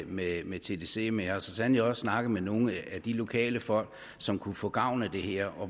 med med tdc men jeg har så sandelig også snakket med nogle af de lokale folk som kunne få gavn af det her